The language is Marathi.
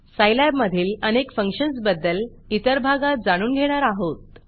सायलॅब मधील अनेक फंक्शन्सबद्दल इतर भागात जाणून घेणार आहोत